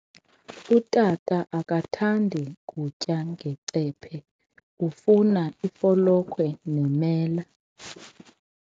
Utata akathandi kutya ngecephe, ufuna ifolokhwe nemela.